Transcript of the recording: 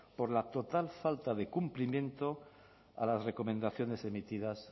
por la total falta de cumplimiento a las recomendaciones emitidas